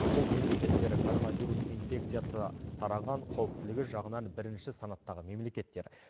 бұл мемлекеттер коронавирус инфекциясы тараған қауіптілігі жағынан бірінші санаттағы мемлекеттер